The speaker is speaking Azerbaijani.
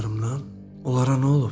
onlara nə olub?